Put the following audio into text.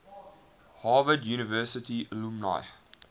harvard university alumni